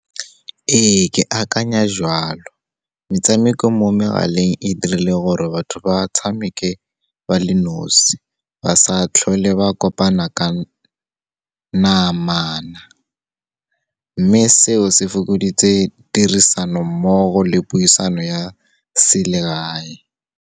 Ee, ke akanya joalo, metshameko mo megaleng e dirile gore batho ba tshameke ba le nosi, ba sa tlhole ba kopana ka namana. Mme seo, se fokoditse tirisanommogo le puisano ya selegae.